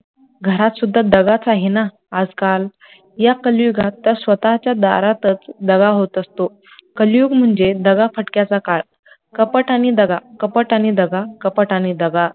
घरात सुद्धा दगाच आहे ना आजकाल या कलीयुगात तर स्वतःच्या दारातच दगा होत असतो, कलियुग म्हणजे दगाफ़टक्याचा काळ, कपट आणि दगा, कपट आणि दगा, कपट आणि दगा